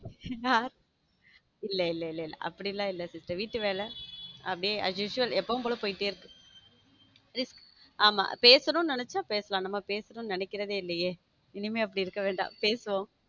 இல்ல இல்ல இல்ல அப்படிலாம் இல்ல sister வீட்டு வேலை அப்படியே as usual எப்போதும் போல போயிட்டு இருக்கு ஆமா பேசணும் நினைச்சா பேசலாம் நாம பேசணும்னு நினைக்கிறது இல்லையே இனிமேல் அப்படி இருக்க வேண்டாம் பேசுவோம்.